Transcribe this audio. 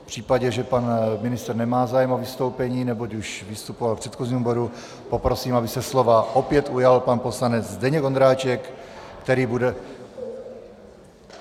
V případě, že pan ministr nemá zájem o vystoupení, neboť již vystupoval v předchozím bodu, poprosím, aby se slova opět ujal pan poslanec Zdeněk Ondráček, který bude...